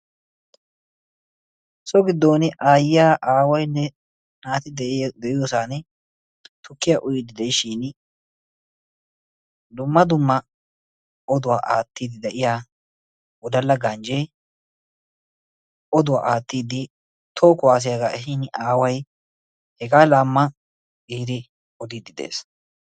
So giddon aayiya, aawaynne naati de'iyosan tukkiya uyiiddi de'ishiin dumma dumma oduwa aattidi de'iya wodala ganjjee oduwa aattidi toho kuwaasiyaga ehiin aaway hegaa laama! Giidi oddiidi dees.